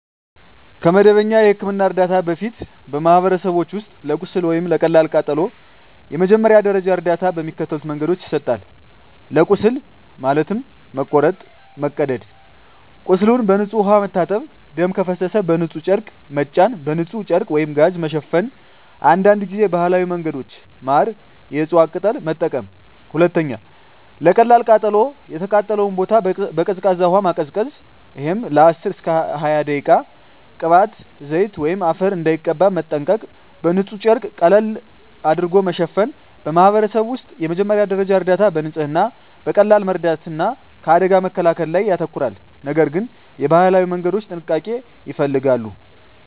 ከመደበኛ የሕክምና እርዳታ በፊት፣ በማኅበረሰቦች ውስጥ ለቁስል ወይም ለቀላል ቃጠሎ የመጀመሪያ ደረጃ እርዳታ በሚከተሉት መንገዶች ይሰጣል፦ ለቁስል (መቁረጥ፣ መቀደድ) ቁስሉን በንጹሕ ውሃ መታጠብ ደም ከፈሰሰ በንጹሕ ጨርቅ መጫን በንጹሕ ጨርቅ/ጋዝ መሸፈን አንዳንድ ጊዜ ባህላዊ መንገዶች (ማር፣ የእፅዋት ቅጠል) መጠቀም 2. ለቀላል ቃጠሎ የተቃጠለውን ቦታ በቀዝቃዛ ውሃ ማቀዝቀዝ (10–20 ደቂቃ) ቅባት፣ ዘይት ወይም አፈር እንዳይቀባ መጠንቀቅ በንጹሕ ጨርቅ ቀለል ማሸፈን በማኅበረሰብ ውስጥ የመጀመሪያ ደረጃ እርዳታ በንጽህና፣ በቀላል መርዳት እና ከአደጋ መከላከል ላይ ያተኮራል፤ ነገር ግን የባህላዊ መንገዶች ጥንቃቄ ይፈልጋሉ።